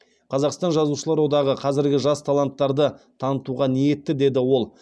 қазақстан жазушылар одағы қазіргі жас таланттарды танытуға ниетті деді ол